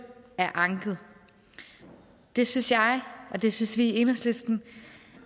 er anket det synes jeg og det synes vi i enhedslisten